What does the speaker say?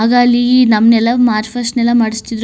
ಆಗ ಅಲ್ಲಿ ನಮ್ಮನ್ನೆಲ್ಲ ಮಾರ್ಚ್ ಫಾಸ್ಟ್ ಮಾಡಿಸ್ತಿದ್ರು.